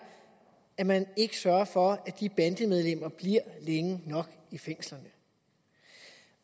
at man ikke sørger for at de bandemedlemmer bliver længe nok i fængslerne